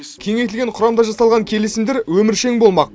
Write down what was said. кеңейтілген құрамда жасалған келісімдер өміршең болмақ